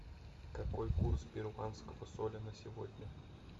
какой курс перуанского соля на сегодня